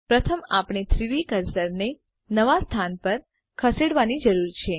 પ્રથમ આપણે 3ડી કર્સરને નવા સ્થાન પર ખસેડવાની જરૂર છે